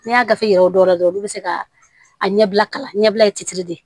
N'i y'a gafe yira dɔw la dɔrɔn olu bɛ se ka a ɲɛbila kalan ɲɛbila de